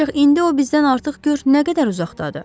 Ancaq indi o bizdən artıq gör nə qədər uzaqdadır.